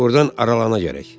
Burdan aralana gərək.